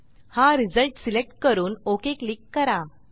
हा result select करून OK click करा